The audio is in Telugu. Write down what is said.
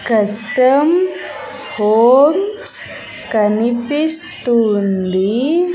కస్టం హోమ్స్ కనిపిస్తూ ఉంది.